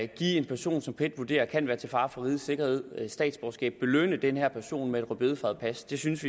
give en person som pet vurderer kan være til fare for rigets sikkerhed statsborgerskab belønne den her person med et rødbedefarvet pas det synes